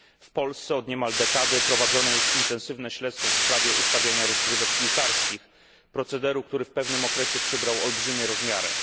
W Polsce od niemal dekady prowadzone jest intensywne śledztwo w sprawie ustawiania rozgrywek piłkarskich, procederu, który w pewnym okresie przybrał olbrzymie rozmiary.